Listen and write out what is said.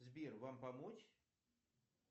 сбер вам помочь